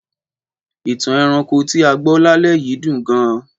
Ìtàn ẹranko tí a gbọ́ lálẹ́ yìí dùn gan-an.